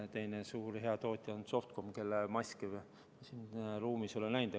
Teine suur hea tootja on Softcom, kelle maske ma siin ruumis olen näinud.